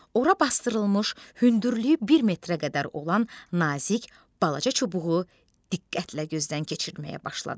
Ora basdırılmış, hündürlüyü bir metrə qədər olan nazik, balaca çubuğu diqqətlə gözdən keçirməyə başladı.